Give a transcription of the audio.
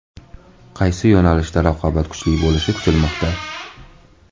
Qaysi yo‘nalishda raqobat kuchli bo‘lishi kutilmoqda?